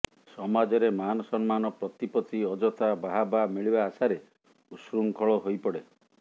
ସମାଜରେ ମାନ ସମ୍ମାନ ପ୍ରତିପତ୍ତି ଅଯଥା ବାହାବା ମିଳିବା ଆଶାରେ ଉଚ୍ଛୃଙ୍ଖଳ ହୋଇପଡ଼େ